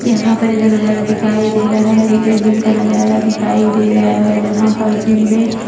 यहां पर जो नजारा दिखाई दे रहा है एक जिम का नजारा दिखाई दे रहा है जहां पर जिम में --